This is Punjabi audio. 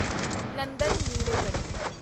ਨੰਦਨ ਨੀਲੇਕਣੀ